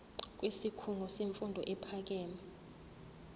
kwisikhungo semfundo ephakeme